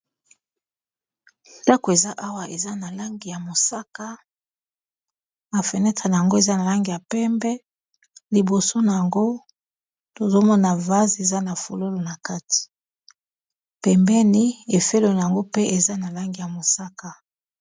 Ndako eza awa eza na langi ya mosaka na fenetre na yango eza na langi ya pembe liboso na yango tozomona vase eza na fololo na kati pembeni efelona yango pe eza na langi ya mosaka.